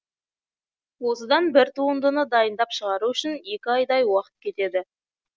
осындай бір туындыны дайындап шығару үшін екі айдай уақыт кетеді